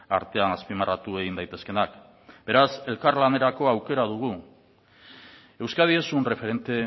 artean azpimarratu egin daitezkeenak beraz elkarlanerako aukera dugu euskadi es un referente